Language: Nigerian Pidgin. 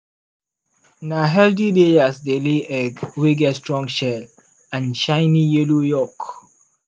na healthy layers dey lay egg wey get strong shell and shiny yellow yolk.